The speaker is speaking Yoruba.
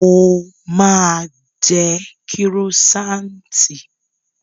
Mo máa jẹ kírósaanti